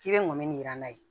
K'i bɛ mɔbili jiran n'a ye